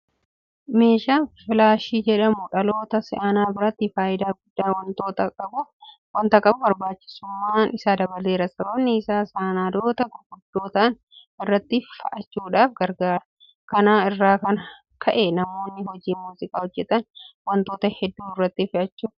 Meeshaan filaashii jedhamu dhaloota si'anaa biratti faayidaa guddaa waanta qabuuf barbaachisummaan isaa dabaleera. Sababni isaas sanadoota gurguddoo ta'an irratti fe'achuudhaaf gargaara. Kana irraa kan ka'e namoonni hojii muuziqaa hojjetan waantota hedduu irratti fe'achuu danda'anii jiru. Kana malees sanadoota yeroo dheeraadhaaf tursiisuudhaaf fayyada.